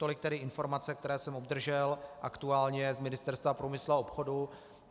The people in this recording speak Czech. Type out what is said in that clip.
Tolik tedy informace, které jsem obdržel aktuálně z Ministerstva průmyslu a obchodu.